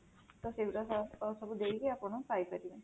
ତ ସେଗୁଡା ସବୁ ଦେଇକି ଆପଣ ପାଇପାରିବେ